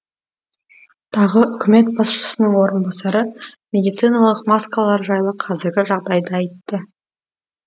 тағы үкімет басшысының орынбасары медициналық маскалар жайлы қазіргі жағдайды айтты